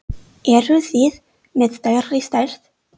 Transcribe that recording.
Eruð þið með stærri stærð?